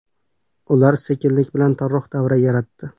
Ular sekinlik bilan torroq davra yaratdi.